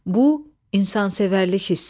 Bu, insansevərlik hissidir.